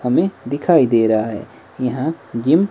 हमें दिखाई दे रहा है यहां जिम --